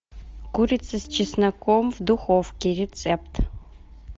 курица с чесноком в духовке рецепт